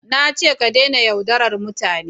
Na ce ka dena yaudaran mutane!